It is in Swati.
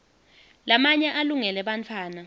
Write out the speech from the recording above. lamanye alungele bantfwana